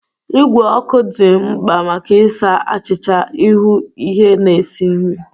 Igwe ọkụ dị mkpa maka ịsa achịcha, ịhu ihe na ịsi nri.